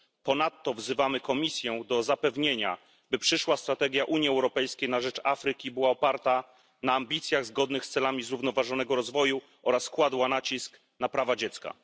Ponadto wzywamy Komisję do zapewnienia, by przyszła strategia Unii Europejskiej na rzecz Afryki była oparta na ambicjach zgodnych z celami zrównoważonego rozwoju oraz kładła nacisk na prawa dziecka.